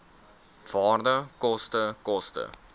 waarde koste koste